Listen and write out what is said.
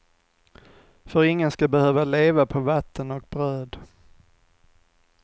För ingen ska behöva leva på vatten och bröd.